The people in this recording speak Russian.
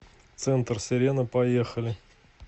центр сирена поехали